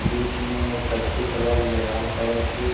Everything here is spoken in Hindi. बीच में कच्ची कलर या लाल कलर की --